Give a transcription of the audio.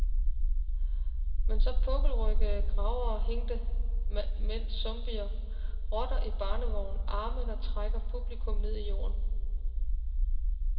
Man så pukkelryggede gravere, hængte mænd, zombier, rotter i barnevogne, arme, der trækker publikum ned i jorden.